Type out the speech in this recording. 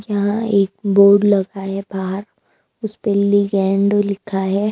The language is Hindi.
यहां एक बोर्ड लगा है बाहर। उसपे लिंगादो लिखा है।